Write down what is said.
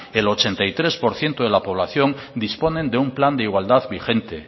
el ochenta y tres por ciento de la población disponen de un plan de igualdad vigente